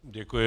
Děkuji.